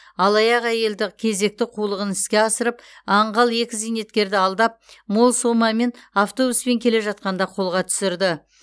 алаяқ әйелді кезекті қулығын іске асырып аңғал екі зейнеткерді алдап мол сомамен автобуспен келе жатқанда қолға түсірді